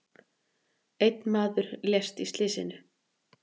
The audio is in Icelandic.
Einn maður lést í slysinu.